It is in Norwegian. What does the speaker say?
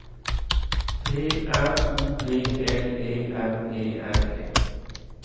P R O B L E M E N E